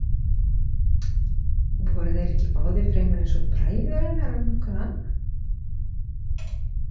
Voru þeir ekki báðir fremur eins og bræður hennar en nokkuð annað?